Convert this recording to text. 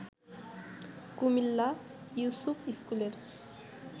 কুমিল্লা ইউসুফ স্কুলের